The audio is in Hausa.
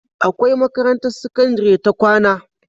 Akwai makarantar sakandari ta kwAna